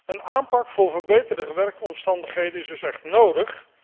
Een aanpak voor verbeterde werkomstandigheden is dus echt nodig.